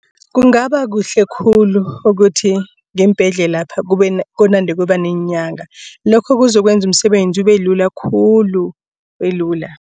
Kungaba kuhle khulu ukuthi ngeembhedlelapha kunande kuba neenyanga. Lokho kuzokwenza umsebenzi ubelula khulu ubelula.